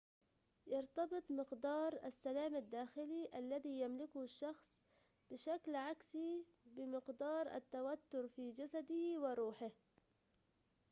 يرتبط مقدارُ السلام الداخلي الذي يملكه الشخص بشكل عكسي بمقدار التوتر في جسده وروحه